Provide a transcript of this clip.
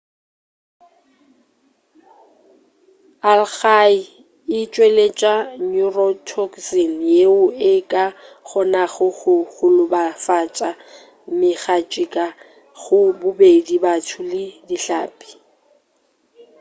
algae e tšweletša neurotoxin yeo e ka kgonago go golofatša megatšhika go bobedi batho le dihlapi